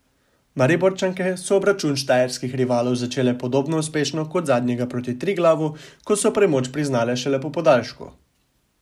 Mariborčanke so obračun štajerskih rivalov začele podobno uspešno kot zadnjega proti Triglavu, ko so premoč priznale šele po podaljšku.